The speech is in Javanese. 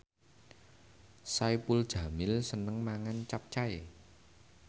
Saipul Jamil seneng mangan capcay